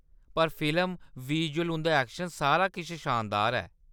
पर film, visual, उंʼदा action, सारा किश शानदार ऐ।